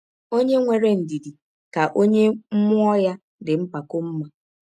Ọnye nwere ndidi ka ọnye mmụọ ya dị mpakọ mma.